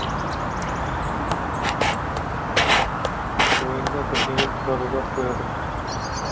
ойында бірдеңе тұрады да қояды